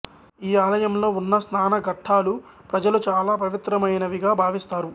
ఈ ఆలయం లో ఉన్న స్నాన ఘట్టాలు ప్రజలు చాలా పవిత్రమైనవిగా భావిస్తారు